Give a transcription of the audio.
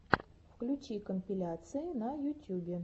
включи компиляции на ютюбе